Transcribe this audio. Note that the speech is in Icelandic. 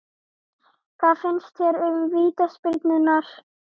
Hvað fannst þér um vítaspyrnurnar?